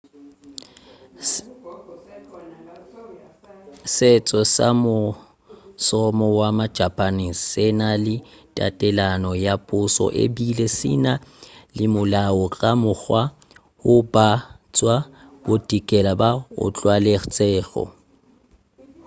setšo sa mošomo wa majapane se na le tatelano ya pušo ebile se na le molao ka mokgwa woo ba tšwa bodikela ba o tlwaetšego